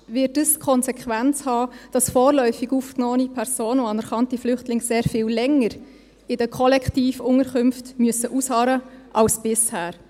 Faktisch wird das die Konsequenz haben, dass vorläufig aufgenommene Personen und anerkannte Flüchtlinge sehr viel länger in den Kollektivunterkünften ausharren müssen als bisher.